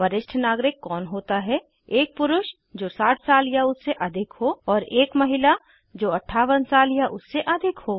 वरिष्ठ नागरिक कौन होता है160एक पुरुष जो 60 साल या उससे अधिक हो और एक महिला जो 58 साल या उससे अधिक हो